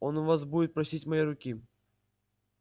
он у вас будет просить моей руки